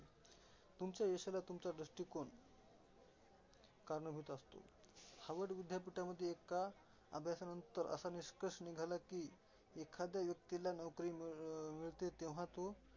तुमच्या यशाला तुमचा दृष्टीकोन कारणीभूत असतो. हार्वर्ड विद्यापिठामध्ये एका अभ्यासानंतर असा निष्कर्ष निघाला की, एखाद्या व्यक्तिला नोकरी मिळ अं मिळते तेव्हा तो.